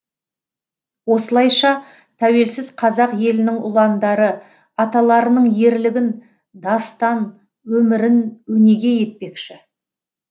осылайша тәуелсіз қазақ елінің ұландары аталарының ерлігін дастан өмірін өнеге етпекші